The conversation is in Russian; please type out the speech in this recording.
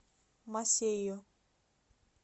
масейо